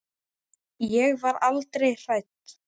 Ég var aldrei hrædd.